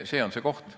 See on see koht.